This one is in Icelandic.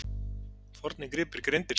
Fornir gripir greindir